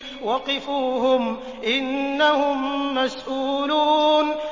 وَقِفُوهُمْ ۖ إِنَّهُم مَّسْئُولُونَ